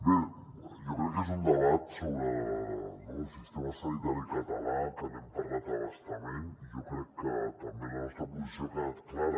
jo crec que és un debat sobre el sistema sanitari català que n’hem parlat a bastament i jo crec que també la nostra posició ha quedat clara